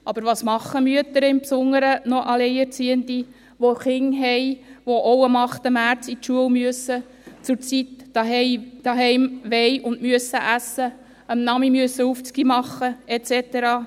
Aber was tun Mütter, insbesondere noch alleinerziehende, die Kinder haben, die auch am 8. März zur Schule gehen, auf Zeit daheim essen wollen und müssen und am Nachmittag Aufgaben machen müssen et cetera?